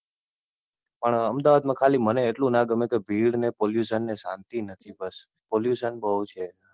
પણ અમદાવાદ મા મને એટલું ના ગમે કે ત્યાં ભીડ ને Pollution ને શાંતિ નથી બસ. Pollution બઉ છે.